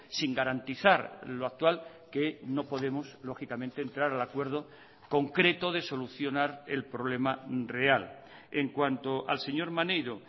sin garantizar loactual que no podemos lógicamente entrar al acuerdo concreto de solucionar el problema real en cuanto al señor maneiro